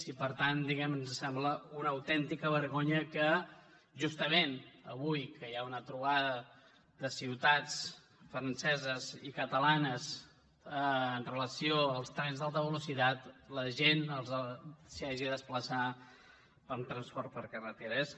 i per tant diguem ne ens sembla una autèntica vergonya que justament avui que hi ha una trobada de ciutats franceses i catalanes amb relació als trens d’alta velocitat la gent s’hi hagi de desplaçar amb transport per carretera